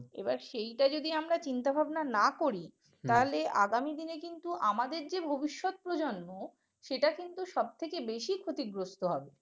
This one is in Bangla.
এইবার সেটা যদি আমরা চিন্তা ভাবনা না করি তাহলে আগামী দিনে কিন্তু আমাদের যে ভবিষ্যৎ প্রজন্ম সেটা কিন্তু সবথেকে বেশী ক্ষতিগ্রস্থ হবে